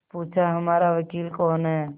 पूछाहमारा वकील कौन है